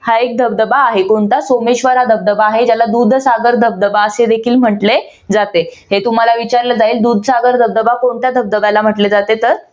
हा एक धबधबा आहे. कोणता? सोमेश्वर हा धबधबा आहे. ज्याला दुधसागर धबधबा असे देखील म्हटले जाते. हे तुम्हाला विचारलं जाईल दुधसागर धबधबा कोणत्या धबधब्याला म्हटले जाते तर